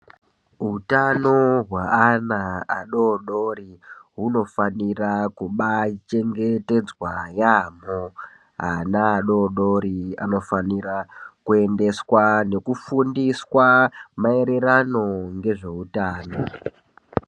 Utano hwe ana adodori hunofanira kubachengetedzwa yaamho , ana adodori anofanira kuendeswa nekufundiswa maererano ngezve utano.